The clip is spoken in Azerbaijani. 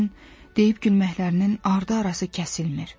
Onların deyib-gülməklərinin ardı arası kəsilmir.